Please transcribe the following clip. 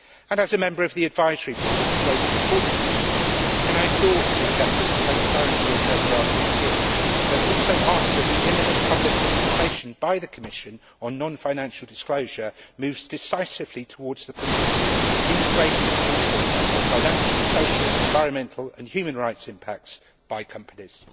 As a member of the advisory board of the Global Reporting Initiative, can I endorse the objective of transparency in paragraph 15, but also ask that the imminent public consultation by the Commission on non financial disclosure moves decisively towards the principle of integrated reporting on financial, social, environmental and human rights impacts by companies.